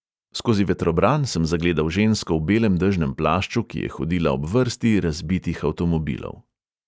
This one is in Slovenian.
Skozi vetrobran sem zagledal žensko v belem dežnem plašču, ki je hodila ob vrsti razbitih avtomobilov.